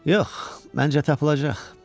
Yox, məncə tapılacaq.